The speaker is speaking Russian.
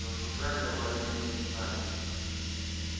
зажужжали аварийные сигнали